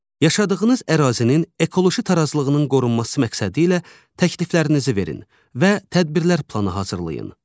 Yaşadığınız ərazinin ekoloji tarazlığının qorunması məqsədi ilə təkliflərinizi verin və tədbirlər planı hazırlayın.